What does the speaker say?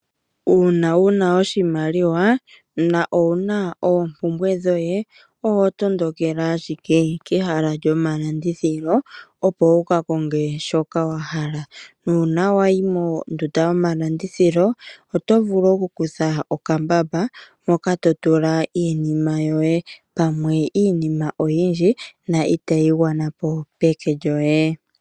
Uuna wuna oshimaliwa na owuna oompumbwe dhoye oho tondokele ashike kehala lyomalandithilo opo wu kakonge shoka wahala. Nuna wayi mondunda yomalandithilo oto vulu kutha okambamba moka totula iinima yoye pamwe iinima oyindji na itayi gwana peke lyoye.